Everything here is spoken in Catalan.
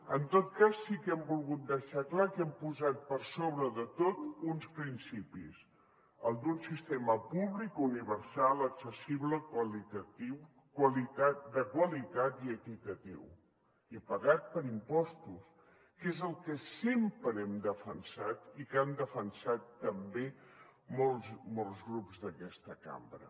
en tot cas sí que hem volgut deixar clar que hem posat per sobre de tot uns principis el d’un sistema públic universal accessible de qualitat i equitatiu i pagat per impostos que és el que sempre hem defensat i que han defensat també molts grups d’aquesta cambra